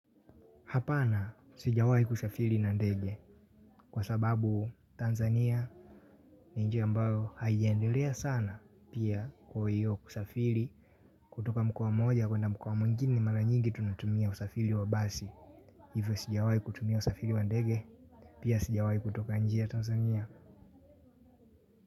Hapana sijawai kusafiri na ndege kwa sababu Tanzania ni nchi ambayo haijiendelea sana pia kuhuyo kusafiri kutoka mkoa mmoja kwenda mkoa mwingini mara nyingi tunatumia usafiri wa basi. Hivyo sijawai kutumia usafiri wa ndege pia sijawai kutoka nchi ya Tanzania.